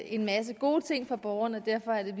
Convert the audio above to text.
en masse gode ting for borgerne og derfor er vi